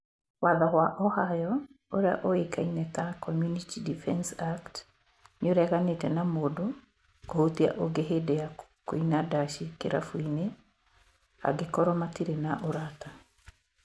Watho wa Ohio ũrĩa ũĩkaine ta 'Community Defense Act', nĩ ureganĩte na mũndũ kũhutia ũngĩ hĩndĩ ya kũina ndaci kĩrabu-inĩ angĩkorwo matirĩ na ũrata